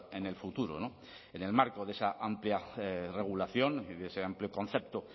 en el futuro no en el marco de esa amplia regulación y de ese amplio concepto